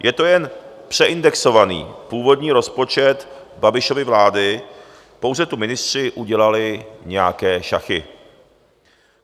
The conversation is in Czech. Je to jen přeindexovaný původní rozpočet Babišovy vlády, pouze tu ministři udělali nějaké šachy.